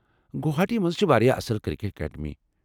گوہاٹی منٛز چھ واریاہ اصل کرکٹ اکیڈمیی ۔